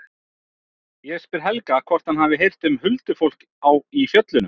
Ég spyr Helga hvort hann hafi heyrt um huldufólk í fjöllunum.